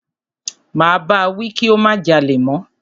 Máa bá wí kí ó má jalè mọ́.